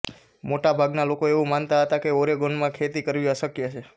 મોટાભાગનાં લોકો એવું માનતા હતાં કે ઑરેગોનમાં ખેતી કરવી અશક્ય છે